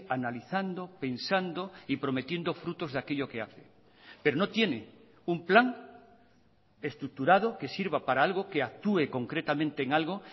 analizando pensando y prometiendo frutos de aquello que hace pero no tiene un plan estructurado que sirva para algo que actúe concretamente en algo